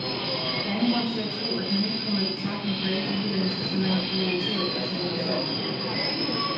Der er ingen grund til at tro, at man ikke kommer i betragtning på alle de uddannelser, som man har prioriteret på sin ansøgning.